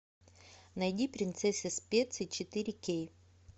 найди принцесса специй четыре кей